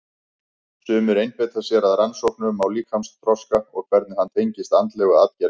Sumir einbeita sér að rannsóknum á líkamsþroska og hvernig hann tengist andlegu atgervi.